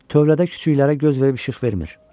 Tövlədə küçüklərə göz verib işıq vermir.